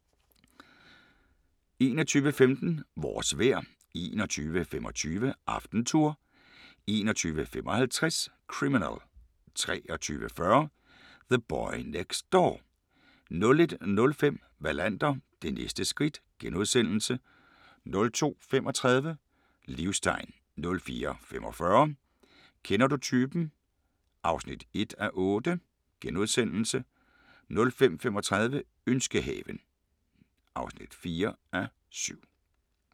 21:15: Vores vejr 21:25: AftenTour 21:55: Criminal 23:40: The Boy Next Door 01:05: Wallander: Det næste skridt * 02:35: Livstegn 04:45: Kender du typen? (1:8)* 05:35: Ønskehaven (4:7)